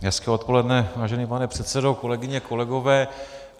Hezké odpoledne, vážený pane předsedo, kolegyně, kolegové.